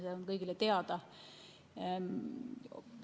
See on kõigile teada.